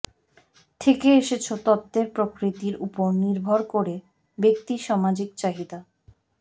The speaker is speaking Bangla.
থেকে এসেছ তত্ত্বের প্রকৃতির উপর নির্ভর করে ব্যক্তি সামাজিক চাহিদা